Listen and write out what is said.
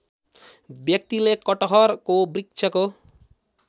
व्यक्तिले कटहरको वृक्षको